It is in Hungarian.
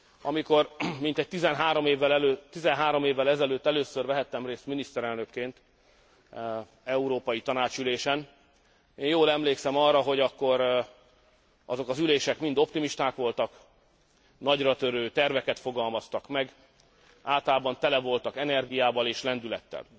Amikor mintegy 13 évvel ezelőtt először vehettem részt miniszterelnökként európai tanácsi ülésen, én jól emlékszem arra, hogy akkor azok az ülések mind optimisták voltak, nagyra törő terveket fogalmaztak meg, általában tele voltak energiával és lendülettel.